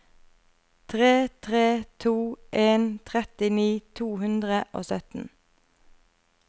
tre tre to en trettini to hundre og sytten